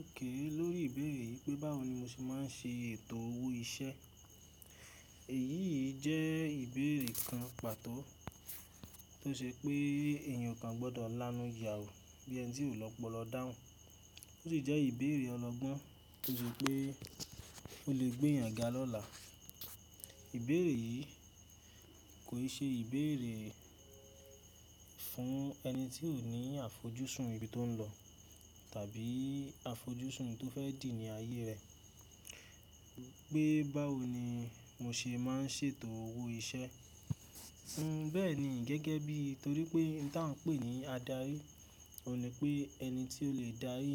Òkè lórí ìbéèrè yìí pé báwo ni mo ṣe máa ń ṣe ètò owó iṣẹ́. Èyí yìí jẹ́ ìbéèrè kan pàtó tó ṣe pé ènìyàn kan oo gbọ́dọ̀ lanú yàwú bí ẹni tí ò ni ọ́pọ́lọ dáhùn. Ó sì jẹ́ ìbéèrè ọlọgbọ́n torí pé ó lè gbé èèyàn ga lọ́la. Ìbéèrè yìí kò ṣe ìbéèrè fún ẹni tí ò ní àfojúsùn ibi tó ń lọ tàbí àfojúsùn tó fẹ́ dì ní ayé rẹ̀. Pé báwo ni mo ṣe máa ń ṣètò owó iṣẹ́? N bẹ́ẹ̀ ni gẹ́gẹ́ bí torí pé ohun tí à ń pè ní adarí, ò ní pé ẹni tí ó lè dárí,